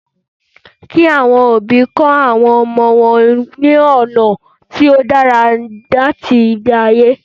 Kí àwọn òbí kọ̀ àwọn ọmọ wọn ní ọ̀nà tí ó dára láti gbé ayé